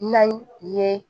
N'a ye